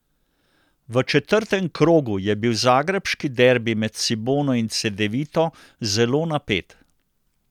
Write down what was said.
V četrtem krogu je bil zagrebški derbi med Cibono in Cedevito zelo napet.